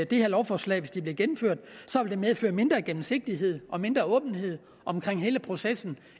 det her lovforslag hvis det bliver gennemført vil medføre mindre gennemsigtighed og mindre åbenhed omkring hele processen